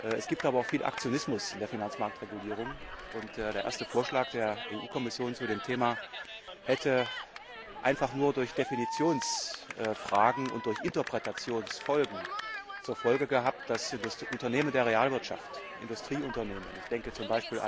Es gibt aber auch viel Aktionismus in der Finanzmarktregulierung, und der erste Vorschlag der Kommission zu dem Thema hätte einfach nur durch Definitionsfragen und Interpretationsfolgen zur Folge gehabt, dass Unternehmen der Realwirtschaft, Industrieunternehmen ich denke z.